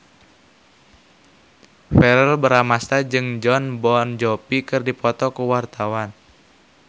Verrell Bramastra jeung Jon Bon Jovi keur dipoto ku wartawan